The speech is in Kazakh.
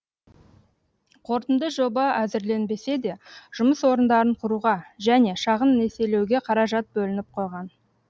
қорытынды жоба әзірленбесе де жұмыс орындарын құруға және шағын несиелеуге қаражат бөлініп қойған